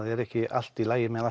er ekki allt í lagi með